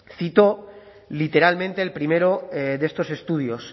cito literalmente el primero de estos estudios